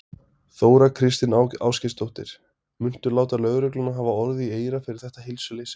Þóra Kristín Ásgeirsdóttir: Muntu láta lögregluna hafa orð í eyra fyrir þetta heilsuleysi?